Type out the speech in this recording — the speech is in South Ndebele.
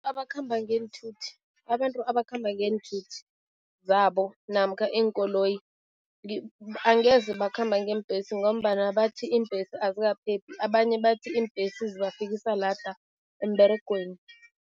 Abakhamba ngeenthuthi, abantu abakhamba ngeenthuthi zabo namkha iinkoloyi angeze bakhamba ngeembhesi ngombana bathi iimbhesi azikaphephi, abanye bathi iimbhesi zibafikisa lada emberegweni.